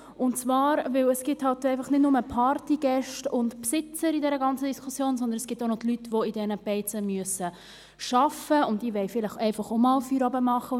Denn es gibt nicht nur Partygäste und Besitzer in dieser ganzen Diskussion, sondern auch noch die Leute, die in diesen Beizen arbeiten müssen, und diese wollen vielleicht einfach auch einmal Feierabend machen.